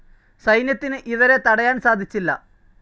സൈന്യത്തിന് ഇവരെ തടയാൻ സാധിച്ചില്ല.